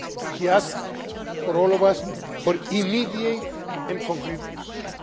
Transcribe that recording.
He asked all of us for immediate and concrete action.